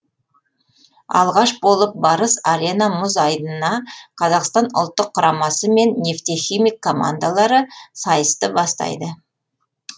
алғаш болып барыс арена мұз айдынына қазақстан ұлттық құрамасы мен нефтехимик командалары сайысты бастайды